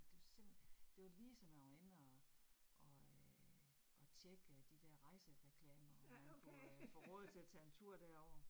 Det var simpelthen, det var lige så man var inde og og øh og tjekke de der rejsereklamer og man kunne få råd til at tage en tur derover